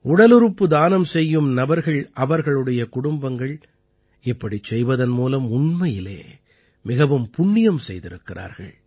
உடலுறுப்பு தானம் செய்யும் நபர்கள் அவர்களுடைய குடும்பங்கள் இப்படிச் செய்வதன் மூலம் உண்மையிலே மிகவும் புண்ணியம் செய்திருக்கிறார்கள்